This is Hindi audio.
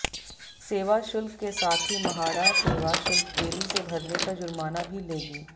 सेवा शुल्क के साथ ही म्हाडा सेवा शुल्क देरी से भरने का जुर्माना भी लेगी